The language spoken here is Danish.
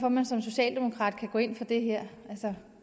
at man som socialdemokrat kan gå ind for det her